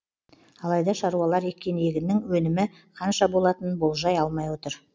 алайда шаруалар еккен егіннің өнімі қанша болатынын болжай алмай отыр